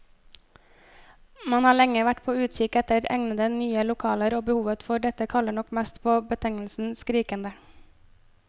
Man har lenge vært på utkikk etter egnede, nye lokaler, og behovet for dette kaller nok mest på betegnelsen skrikende.